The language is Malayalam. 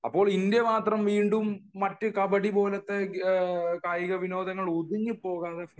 അപ്പോൾ ഇന്ത്യ മാത്രം വീണ്ടും മറ്റു കബഡി പോലത്തെ കായിക വിനോദങ്ങളിൽ ഒതുങ്ങി പോകാനുള്ള